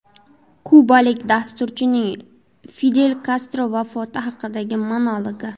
Kubalik dasturchining Fidel Kastro vafoti haqidagi monologi.